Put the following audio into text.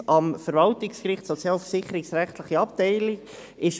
Er ist seit 2005 in der sozialversicherungsrechtlichen Abteilung am Verwaltungsgericht.